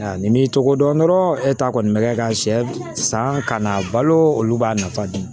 Nin m'i tɔgɔ dɔn dɔrɔn e ta kɔni bɛ kɛ ka sɛ san ka na balo olu b'a nafa di